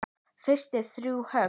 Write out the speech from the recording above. Fyrst þrjú högg.